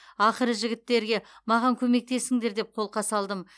ақыры жігіттерге маған көмектесіңдер деп қолқа салдым